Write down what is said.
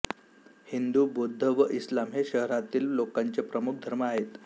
हिंदू बौद्ध व इस्लाम हे शहरातील लोकांचे प्रमुख धर्म आहेत